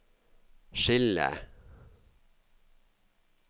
skille